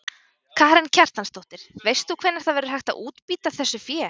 Karen Kjartansdóttir: Veist þú hvenær það verður hægt að útbýta þessu fé?